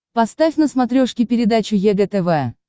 поставь на смотрешке передачу егэ тв